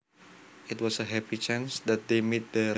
It was a happy chance that they met there